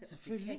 Selvfølgelig